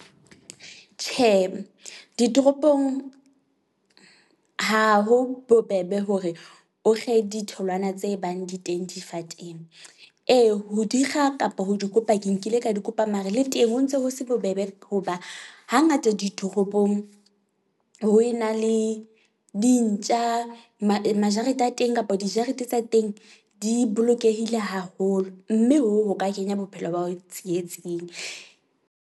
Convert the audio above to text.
Tjhe, ditoropong ha ho bobebe hore o kge ditholwana tse bang di teng difateng. Ee, ho di kga kapa ho di kopa ke nkile ka di kopa mare, le teng ho ntse ho se bobebe be hoba hangata ditoropong ho ena le dintja. Majareteng a teng kapa dijarete tsa teng di bolokehile haholo, mme hoo, ho ka kenya bophelo ba hao tsietsing.